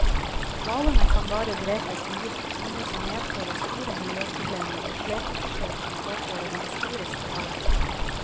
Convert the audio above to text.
Hvalene kan bare drepes med gift, noe som medfører store miljøproblemer, og slepeforsøk kan påføre dem store skader.